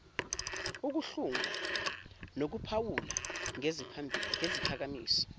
ukuhlunga nokuphawula ngeziphakamiso